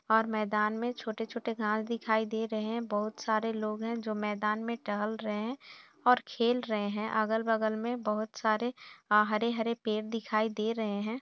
और मैदान में छोटे-छोटे घास दिखाई दे रहे हैं बहुत सारे लोग हैं जो मैदान में टहल रहे हैं और खेल रहे हैं अगल-बगल में बहुत सारे आ हरे-हरे पेड़ दिखाई दे रहे हैं।